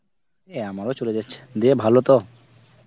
এই আমার ও চলে যাচ্ছে, দিয়ে ভালো তো